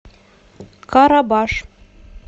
карабаш